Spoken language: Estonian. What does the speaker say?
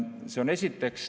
Seda esiteks.